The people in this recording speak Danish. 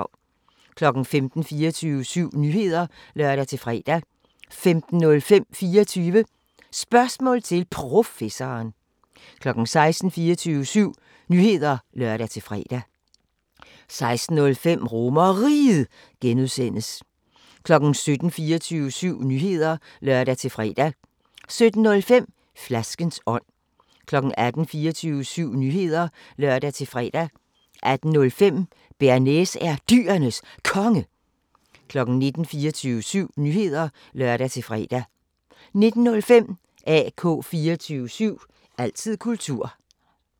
15:00: 24syv Nyheder (lør-fre) 15:05: 24 Spørgsmål til Professoren 16:00: 24syv Nyheder (lør-fre) 16:05: RomerRiget (G) 17:00: 24syv Nyheder (lør-fre) 17:05: Flaskens ånd 18:00: 24syv Nyheder (lør-fre) 18:05: Bearnaise er Dyrenes Konge 19:00: 24syv Nyheder (lør-fre) 19:05: AK 24syv – altid kultur